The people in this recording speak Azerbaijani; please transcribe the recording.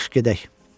Yaxşı gedək.